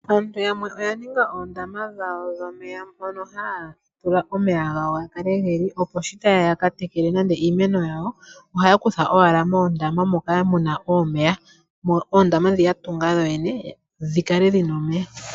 Aantu yamwe oya ninga oondama dhawo dhomeya mono haya tula omeya gawo moka geli, opo sho taye ya yaka tekele nande iimeno yawo ohaya kutha owala omeya moondama dhawo ndhi ya tunga yo yene dhi kale dhina omeya.